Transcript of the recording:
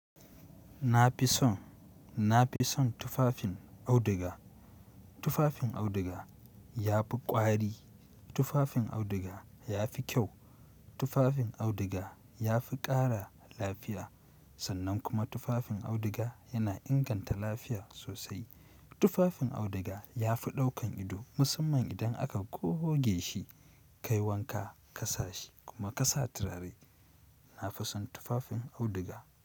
Na fi son, na fi son tufafin auduga. Tufafin auduga ya fi ƙwari. Tufafin auduga ya fi kyau. Tufafin auduga ya fi ƙara lafiya. Sannan kuma tufafin auduga yana inganta lafiya sosai. Tufafin auduga ya fi ɗaukan ido musamman idan aka goge shi, kai wanka ka sa shi kuma ka sa turare. Na fi son tufafin auduga.